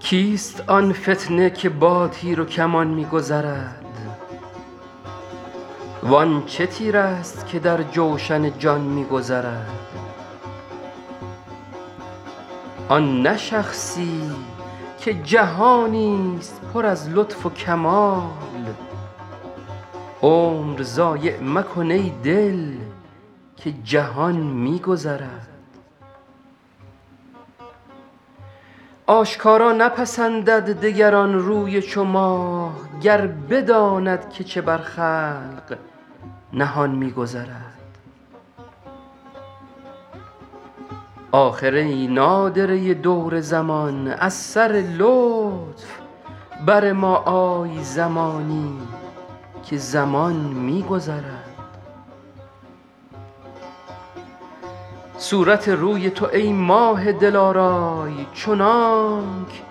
کیست آن فتنه که با تیر و کمان می گذرد وان چه تیرست که در جوشن جان می گذرد آن نه شخصی که جهانی ست پر از لطف و کمال عمر ضایع مکن ای دل که جهان می گذرد آشکارا نپسندد دگر آن روی چو ماه گر بداند که چه بر خلق نهان می گذرد آخر ای نادره دور زمان از سر لطف بر ما آی زمانی که زمان می گذرد صورت روی تو ای ماه دلارای چنانک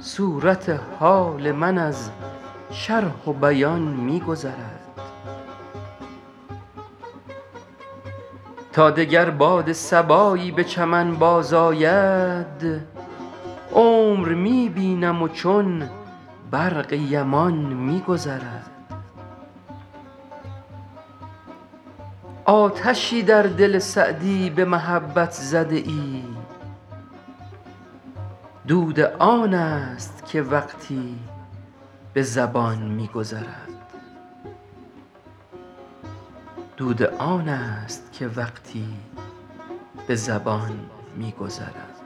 صورت حال من از شرح و بیان می گذرد تا دگر باد صبایی به چمن بازآید عمر می بینم و چون برق یمان می گذرد آتشی در دل سعدی به محبت زده ای دود آن ست که وقتی به زبان می گذرد